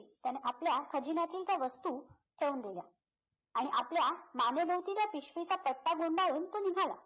त्याने आपल्या खजिन्यातील त्या वस्तू ठेऊन दिल्या आणि आपल्या मानेभोवती त्या पिशवीचा गुंडाळून तो निघाला